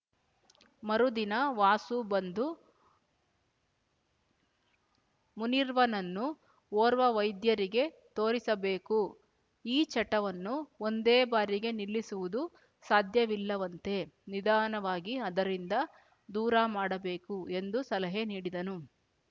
ಮರುದಿನ ವಾಸು ಬಂದು ಮುನೀರ್ವನನ್ನು ಓರ್ವ ವೈದ್ಯರಿಗೆ ತೋರಿಸಬೇಕು ಈ ಚಟವನ್ನು ಒಂದೇ ಬಾರಿಗೆ ನಿಲ್ಲಸುವುದು ಸಾಧ್ಯವಿಲ್ಲವಂತೆ ನಿಧಾನವಾಗಿ ಅದರಿಂದ ದೂರ ಮಾಡಬೇಕು ಎಂದು ಸಲಹೆ ನೀಡಿದನು